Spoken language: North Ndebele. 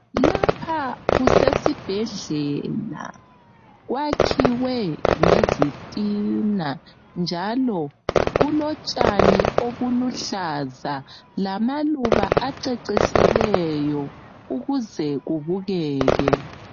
Lapha kusesibhedlela kwakhiwe ngezitina njalo kulotshani obuluhlaza lamaluba acecisileyo ukuze kubukeke.